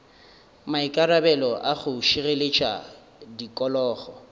maikarabelo a go šireletša tikologo